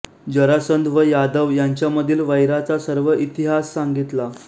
जरासंध व यादव यांच्यामधील वैराचा सर्व इतिहास सांगितला